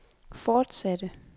fortsatte